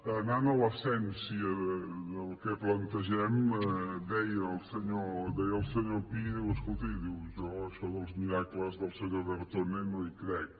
anant a l’essència del que plantegem deia el senyor pi escolti diu jo això dels miracles del senyor bertone no hi crec